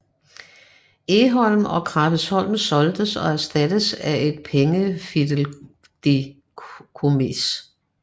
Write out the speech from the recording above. Egholm og Krabbesholm solgtes og erstattedes af et pengefideikommis